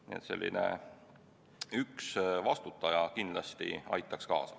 Nii et sellise ühe vastutaja olemasolu kindlasti aitaks kaasa.